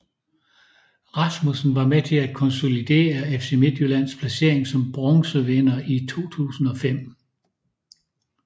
Rasmussen var med til at konsolidere FC Midtjyllands placering som bronzevinder i 2005